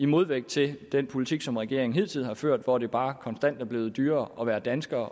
modvægt til den politik som regeringen hidtil har ført hvor det bare konstant er blevet dyrere at være dansker